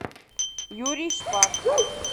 юрий шпак